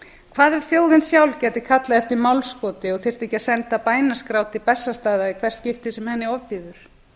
hvað ef þjóðin sjálf gæti kallað eftir málskoti og þyrfti ekki að senda bænaskrá til bessastaða í hvert skipti sem henni ofbýður